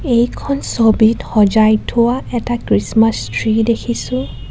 এইখন ছবিত সজাই থোৱা এটা খ্ৰীষ্টমাছ ট্ৰী দেখিছোঁ .